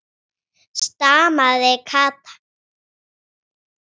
Það hræðir menn, segir Andrés.